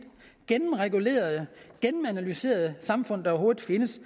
gennemregulerede gennemanalyserede samfund der overhovedet findes